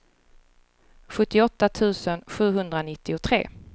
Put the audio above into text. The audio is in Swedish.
sjuttioåtta tusen sjuhundranittiotre